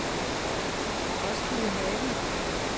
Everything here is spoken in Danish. Roskildehave